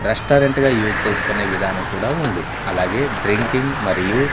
restaurant గా use చేసుకునే విధానం కూడా ఉంది అలాగే డ్రింకింగ్ మరియు --